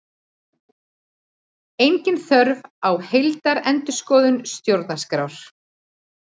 Engin þörf á heildarendurskoðun stjórnarskrár